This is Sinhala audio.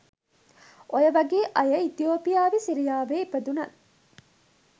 ඔය වගේ අය ඉතියෝපියාවෙ සිරියාවෙ ඉපදුනත්